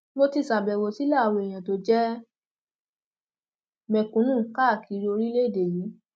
mo ti ṣàbẹwò sílé àwọn èèyàn tó jẹ mẹkúnnù káàkiri orílẹèdè yìí